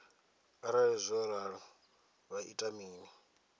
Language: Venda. arali zwo ralo vha ita mini